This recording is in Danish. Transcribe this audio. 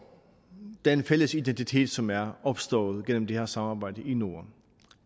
den fælles identitet som er opstået gennem det her samarbejde i norden